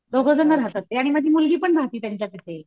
दोघेजण राहतात ते आणि माझी मुलगी पण राहती त्यांच्या पाशी